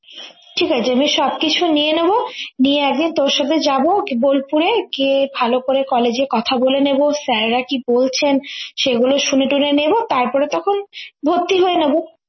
ঠিক আছে সবকিছু নিয়ে নেবো নিয়ে একদিন তোর সাথে যাবো বোলপুরে গিয়ে ভালো করে college এ কথা বলে নেবো sir রা কি বলছেন সেগুলো শুনেটুনে নেবো তারপরে তখন ভর্তি হয়ে নেবো